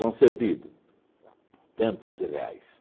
Concedido, tantos reais.